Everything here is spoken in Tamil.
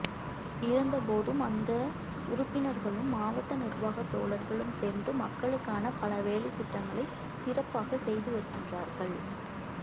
இருந்தபோதும் அந்த உறுப்பினர்களும் மாவட்ட நிர்வாக தோழர்களும் சேர்ந்து மக்களுக்கான பல வேலைத்திட்டங்களை சிறப்பாக செய்துவருகின்றார்கள்